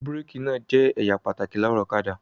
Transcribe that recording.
Búrékì náà jẹ́ ẹ̀ya pàtàkì lára ọ̀kadà.